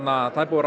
það er búið að